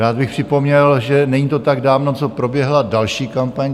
Rád bych připomněl, že není to tak dávno, co proběhla další kampaň.